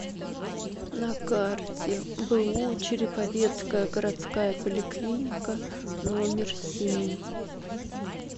на карте бу череповецкая городская поликлиника номер семь